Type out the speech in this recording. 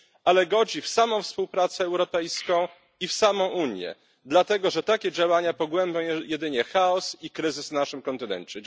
ale godzi w samą współpracę europejską i w samą Unię, dlatego że takie działania pogłębiają jedynie chaos i kryzys na naszym kontynencie.